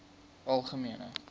algemene